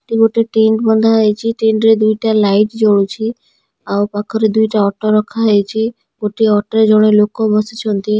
ଏଠି ଗୋଟେ ଟେଣ୍ଟ ବନ୍ଧା ହେଇଚି ଟେଣ୍ଟ ରେ ଦୁଇଟା ଲାଇଟି ଜଳୁଛି ଆଉ ପାଖରେ ଦୁଇଟା ଅଟୋ ରଖା ହେଇଚି ଗୋଟିଏ ଅଟୋ ରେ ଜଣେ ଲୋକ ବସିଛନ୍ତି।